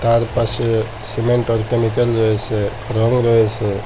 তার পাশে সিমেন্ট ও কেমিক্যাল রয়েসে রং রয়েসে।